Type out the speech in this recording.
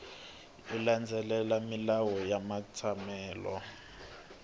yo landzelela milawu ya matsalelo